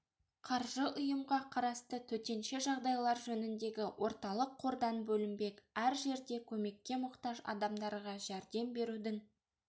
қаржы ұйымға қарасты төтенше жағдайлар жөніндегі орталық қордан бөлінбек әр жерде көмекке мұқтаж адамдарға жәрдем берудің